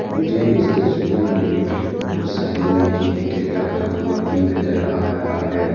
मुझे इस तस्वीर में बहोत सारे मैगी पैकेट रखा हुआ भी नजर आ रहा है।